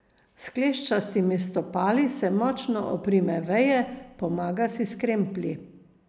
S kleščastimi stopali se močno oprime veje, pomaga si s kremplji.